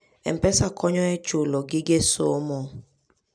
M-Pesa konyo e chulo gige somo.